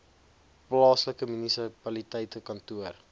plaaslike munisipale kantoor